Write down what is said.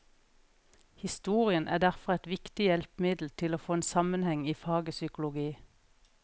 Historien er derfor et viktig hjelpemiddel til å få en sammenheng i faget psykologi.